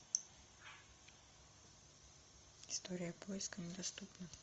история поиска недоступна